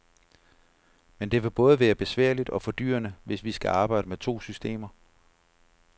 Men det vil både være besværligt og fordyrende, hvis vi skal arbejde med to systemer.